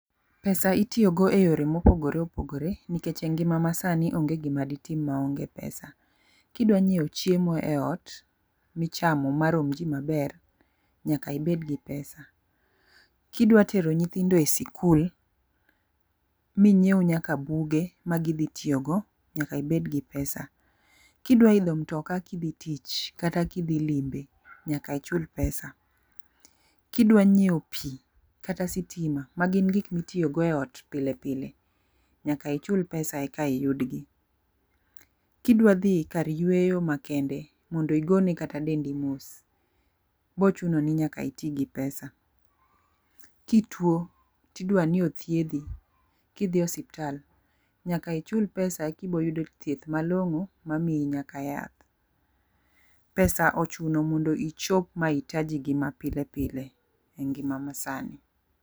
Pesa itiyo go eyore mopogore opogore nikech e ngima masani onge gima ditim maonge pesa. kidwa nyiewo chiemo e ot michamo marom ji maber nyaka ibed gi pesa , kidwa tero nyithindo e sikul minyiew nyaka buge magidhi tiyo go nyaka ibed gi pesa, kidwa idho mtoka kidhi tich kata gidhi lime nyaka ichul pesa kidwa nyiewo pii kata sitima ma gin gik mitiyo go e ot pile pile nyaka ichul pesa eka iyud gi. Kidwa dhi kar yweyo makende mondo igone kata dendi mos bochuno ni nyaka iti gi pesa, kituo tidwa ni othiedhi kidhie e osiptal nyaka ichul pesa ekiboyudo thieth malong'o mamiyi nyaka yath. Pesa ochuno mondo ichop mahitaji gi mapile pile e ngima masani.